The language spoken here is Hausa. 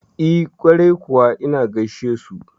E, kwarai kuwa ina gaishesu.